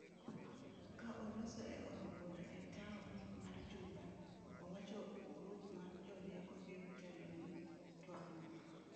ka oloso e od bura e taon mar Juba, owacho grup ma jorieko biro telo ni twag no.